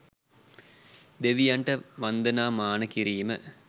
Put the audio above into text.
දෙවියන්ට වන්දනාමාන කිරීම